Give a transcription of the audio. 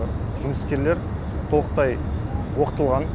жұмыскерлер толықтай оқытылған